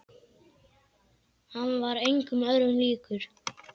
Hann var engum öðrum líkur.